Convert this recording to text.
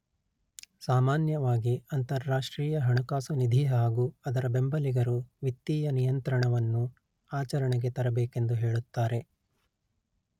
ಸಾಮಾನ್ಯವಾಗಿ ಅಂತರರಾಷ್ಟ್ರೀಯ ಹಣಕಾಸು ನಿಧಿ ಹಾಗೂ ಅದರ ಬೆಂಬಲಿಗರು ವಿತ್ತೀಯ ನಿಯಂತ್ರಣವನ್ನು ಆಚರಣೆಗೆ ತರಬೇಕೆಂದು ಹೇಳುತ್ತಾರೆ